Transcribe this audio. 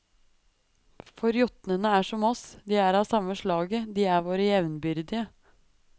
For jotnene er som oss, de er av samme slaget, de er våre jevnbyrdige.